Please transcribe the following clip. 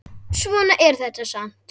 Svona er þetta samt.